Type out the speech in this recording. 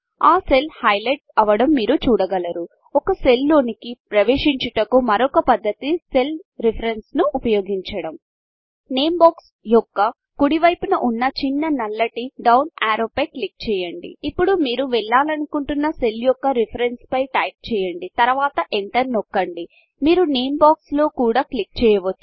ఆ cell highlight అవడం మీరు చూడగలరు ఒక సెల్లోనికి ప్రవేశించుటకు మరొక పద్ధతి సెల్ రిఫరెన్స్ ను ఉపయోగించడం నేమ్ Boxనేమ్ బాక్స్ యొక్క కుడి వైపున ఉన్న చిన్న నల్లటి డౌన్ఆరో పై క్లిక్ చేయండి ఇప్పుడు మీరు వెళ్ళాలనుకుంటున్న సెల్ యొక్క రిఫరెన్స్ పై టైప్ చేయండి తరువాత ఎంటర్ నొక్కండి మీరు నేమ్ Boxనేమ్ బాక్స్ లోకూడ క్లిక్ చేయవచ్చు